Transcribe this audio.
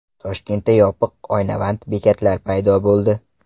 Toshkentda yopiq oynavand bekatlar paydo bo‘ldi.